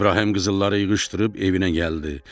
İbrahim qızılları yığışdırıb evinə gəldi.